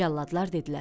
Cəlladlar dedilər: